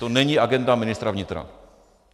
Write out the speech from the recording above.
To není agenda ministra vnitra.